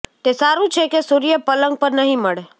તે સારું છે કે સૂર્ય પલંગ પર નહી મળે